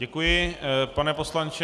Děkuji, pane poslanče.